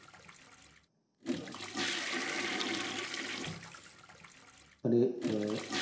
মানে আহ